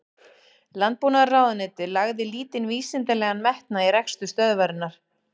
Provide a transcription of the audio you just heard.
Landbúnaðarráðuneytið lagði lítinn vísindalegan metnað í rekstur stöðvarinnar.